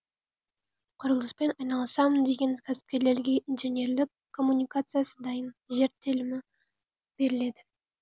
құрылыспен айналысамын деген кәсіпкерлерге инженерлік коммуникациясы дайын жер телімі беріледі